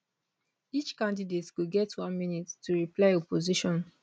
each candidate go get one minute to reply opposition